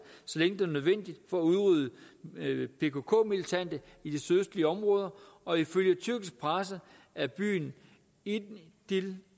så længe det er nødvendigt for at udrydde pkk militante i de sydøstlige områder og ifølge tyrkisk presse er byen idil